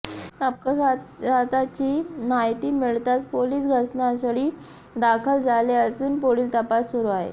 अपघाताची माहिती मिळताच पोलीस घटनास्थळी दाखल झाले असून पुढील तपास सुरू आहे